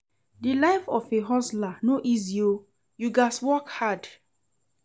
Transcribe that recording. Di life of a hustler no easy o, you gats work hard.